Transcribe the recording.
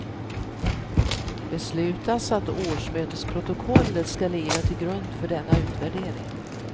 Beslutas att årsmötesprotokollet skall ligga till grund för denna utvärdering.